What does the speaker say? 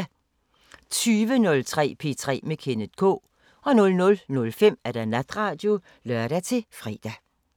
20:03: P3 med Kenneth K 00:05: Natradio (lør-fre)